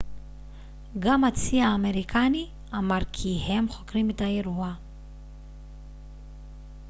גם הצי האמריקני אמר כי הם חוקרים את האירוע